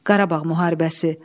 Qarabağ müharibəsi.